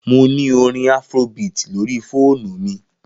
Mo ni orin Afrobeat lori foonu mi.